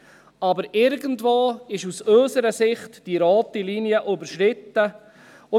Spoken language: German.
Aus unserer Sicht ist aber irgendwo die rote Linie überschritten.